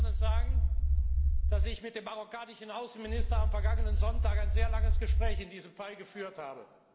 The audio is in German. Ich will hier gerne sagen, dass ich mit dem marokkanischen Außenminister am vergangenen Sonntag ein sehr langes Gespräch über diesen Fall geführt habe.